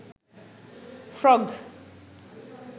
frog